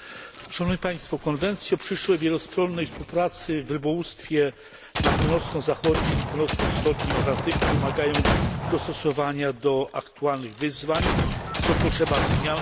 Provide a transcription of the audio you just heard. Konwencje przyszłej wielostronnej współpracy w rybołówstwie na północno zachodnim i północno wschodnim Atlantyku wymagają dostosowania do aktualnych wyzwań, stąd potrzeba zmian w ich zapisach.